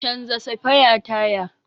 Canja safaya taya.